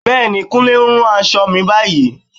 Bẹ́ẹ̀ni, Kúnlé ń rán aṣọ mi báyìí